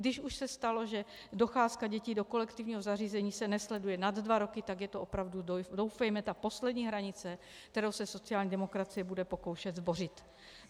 Když už se stalo, že docházka dětí do kolektivního zařízení se nesleduje nad dva roky, tak je to opravdu, doufejme, ta poslední hranice, kterou se sociální demokracie bude pokoušet zbořit.